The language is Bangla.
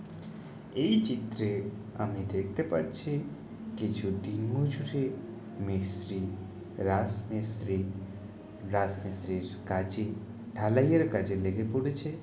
এই চিত্রে আমি দেখতে পাচ্ছি কিছু দিনমজুরে মিস্ত্রি রাসমিস্ত্রি রাসমিস্ত্রির কাজে ঢালাই এর কাজে লেগে পড়েছে।